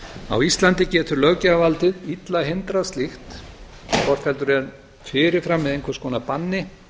á íslandi getur löggjafarvaldið illa hindrað slíkt hvort heldur er fyrir fram með einhvers konar banni